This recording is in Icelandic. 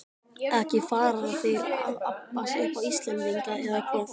Ekki fara þeir að abbast upp á Íslendinga, eða hvað?